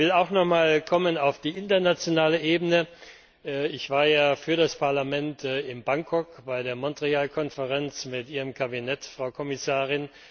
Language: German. Ich will auch nochmal auf die internationale Ebene kommen. Ich war ja für das Parlament in Bangkok bei der Montreal Konferenz mit Ihrem Kabinett, Frau Kommissarin.